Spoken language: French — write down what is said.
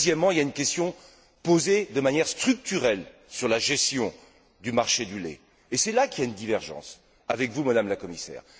Puis, deuxièmement, il y a une question posée de manière structurelle sur la gestion du marché du lait, et c'est là qu'il y a une divergence avec vous, Madame la Commissaire.